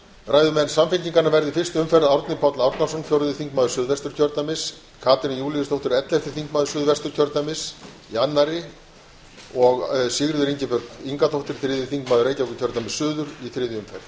ræðumenn samfylkingarinnar verða í fyrstu umferð árni páll árnason fjórði þingmaður suðvesturkjördæmis katrín júlíusdóttir ellefti þingmaður suðvesturkjördæmis í annarri umferð og sigríður ingibjörg ingadóttir þriðji þingmaður reykjavíkurkjördæmis suður í þriðju umræðu